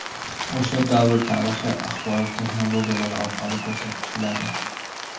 o‘sha davr tarixi axborot texnologiyalari orqali ko‘rsatiladi.